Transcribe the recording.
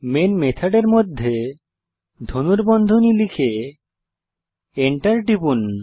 main মেথডের মধ্যে ধনুর্বন্ধনী লিখে Enter টিপুন